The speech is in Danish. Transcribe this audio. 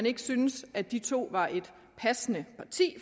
ikke synes at de to var et passende parti